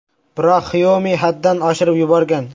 Biroq Xiaomi haddan oshirib yuborgan.